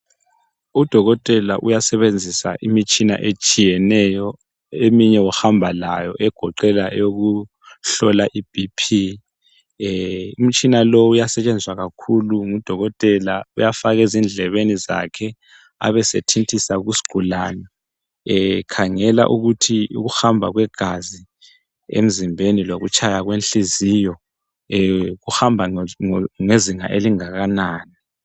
Udokotela uyasebenzesa imitshina etshiyeneyo eminye uhamba layo egoqela eyokuhlola ibhiphi umtshina lo uyasetshenziswa kakhulu ngudokotela uyafaka ezindlebeni zakhe abesethintisa kusigulani ekhangela ukuthi ukuhamba kwegazi emzimbeni lokutshaya kwenhliziyo kuhamba ngezinga elingakanani.